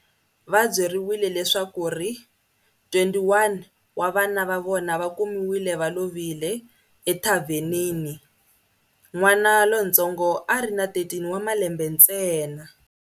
Va byeriwile leswaku 21 wa vana va vona va kumiwile va lovile, ethavhenini. N'wana lontsongo a ri na 13 wa malembe ntsena.